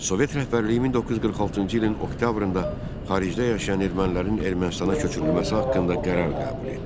Sovet rəhbərliyi 1946-cı ilin oktyabrında xaricdə yaşayan ermənilərin Ermənistana köçürülməsi haqqında qərar qəbul etdi.